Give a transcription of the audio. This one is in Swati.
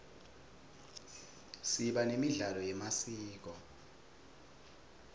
siba nemidlalo yemasiko